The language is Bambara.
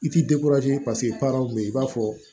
I t'i paseke baaraw bɛ ye i b'a fɔ